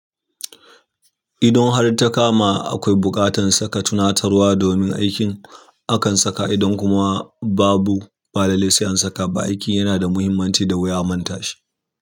Idon har takama akwai buƙatan saka tunatarwa domin aikin akan saka idon kuma babu, ba lallai sai an saka ba. Aikin yana da muhimmanci da wuya a mantashi.